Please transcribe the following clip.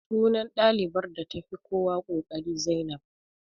Sunan ɗalibar da ta fi kowa ƙoƙari Zainab